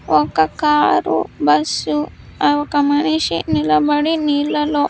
ఒక car bus ఆ ఒక మనిషి నిలబడి నీళ్ళలో.